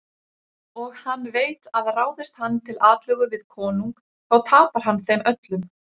Og hann veit að ráðist hann til atlögu við konung þá tapar hann þeim öllum.